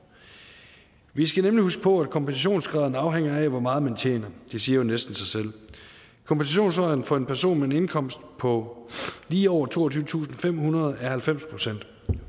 vi skal nemlig huske på at kompensationsgraden afhænger af hvor meget man tjener det siger næsten sig selv kompensationsgraden for en person med en indkomst på lige over toogtyvetusinde og femhundrede kroner er halvfems procent